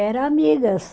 Era amigas.